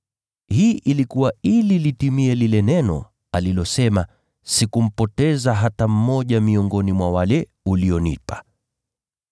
Hii ilikuwa ili litimie lile neno alilosema, “Sikumpoteza hata mmoja miongoni mwa wale ulionipa.”